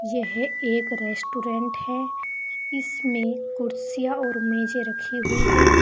यह एक रेस्टोरेंट है इसमें कुर्सियां और मेजे रखीं हुई है।